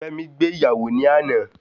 Fẹ́mi gbé ìyàwó ní àná